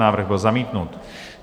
Návrh byl zamítnut.